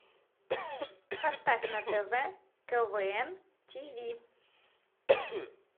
поставь на тв квн тв